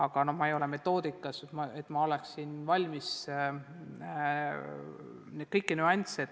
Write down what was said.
Ma ei ole aga selles metoodikas nii tugev, et oleksin valmis kõiki nüansse siin käsitlema.